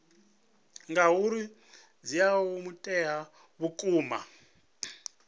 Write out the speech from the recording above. ngauri dzi ea mutheo vhukuma